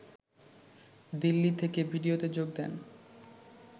দিল্লি থেকে ভিডিওতে যোগ দেন